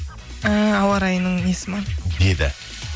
ііі ауа райының несі ме деді